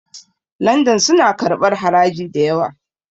London suna karɓar haraji da yawa